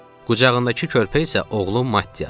Qucağındakı körpə isə oğlum Maddiyadır.